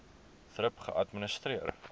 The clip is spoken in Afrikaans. thrip geadministreer